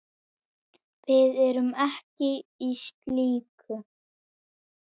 Við erum ekki í slíku.